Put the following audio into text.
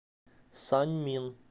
саньмин